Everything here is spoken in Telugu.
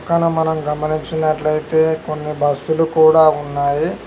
పక్కన మనం గమనించినట్లయితే కొన్ని బస్సులు కూడా ఉన్నాయి.